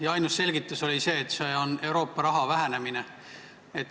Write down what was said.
Ning ainus selgitus oli see, et selle taga on Euroopa raha vähenemine.